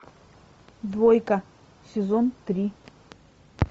двойка сезон три